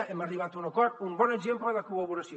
hem arribat a un acord un bon exemple de col·laboració